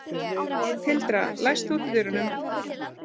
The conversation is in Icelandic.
Tildra, læstu útidyrunum.